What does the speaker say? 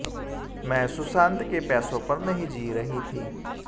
मैं सुशांत के पैसों पर नहीं जी रही थी